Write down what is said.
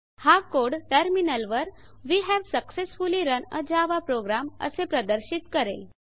हा code terminal वर वे हावे सक्सेसफुली रन आ जावा प्रोग्राम असे प्रदर्शित करेल